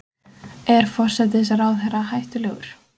Er forsætisráðherra hættulegur?